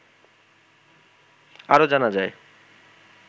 আরো জানা যায়